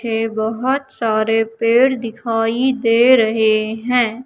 है बहोत सारे पेड़ दिखाई दे रहे है।